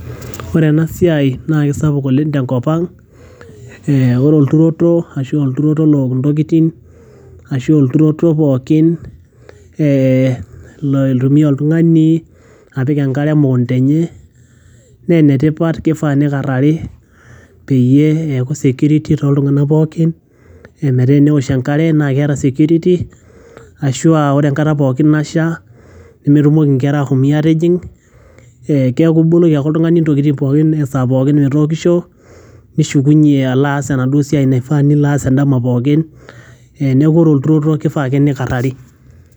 Ore ena siai naake sapuk oleng' tenkop ang' ee kore olturoto ashu aa olturoto look intokitin ashu olturoto pookin ee loitumia oltung'ani apik enkare emukunda enye nee ene tipat kifaa nikarari peyie eeku security tooltung'anak pookin metaa enewosh enkare naake eeta security ashu aa ore enkata pookin nasha nemetumoki nkera ashoi atijing', eeku ake iboloki ake oltung'ani ntokitin pookin esaa pookin metookisho nishukunye alo aas enaduo siai naifaa nilo aas endama pookin. Neeku ore olturoto nifaa ake nikarari.